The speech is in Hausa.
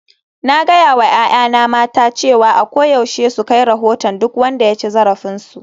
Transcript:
Na gaya wa 'ya'yana mata cewa a koyaushe su kai rahoton duk wanda ya ci zarafinsu